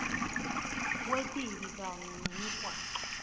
kwetibi kanye nemigwaco